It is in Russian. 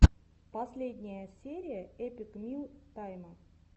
последняя серия эпик мил тайма